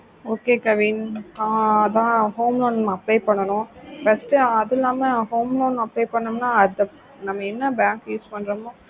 okay kavin ஆஹ் அதன் home loan apply பண்ணுனோம் first அது இல்லாம home loan apply பண்ணுனோனா நம்ம என்ன bank use பண்றோமோ